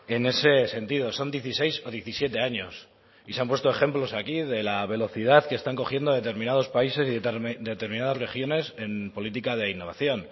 en ese sentido son dieciséis o diecisiete años y se han puesto ejemplos aquí de la velocidad que están cogiendo determinados países y determinadas regiones en política de innovación